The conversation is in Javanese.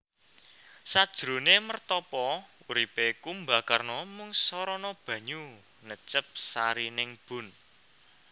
Sajroné mertapa uripé Kumbakarna mung sarana banyu necep sarining bun